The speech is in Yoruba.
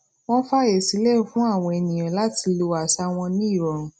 wón faye sile fun awon eniyan lati lo asa won ni irorun